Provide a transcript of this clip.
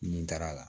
Nin taara